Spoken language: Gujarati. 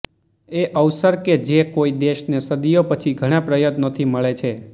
એ અવસર કે જે કોઇ દેશને સદીઓ પછી ઘણા પ્રયત્નોથી મળે છે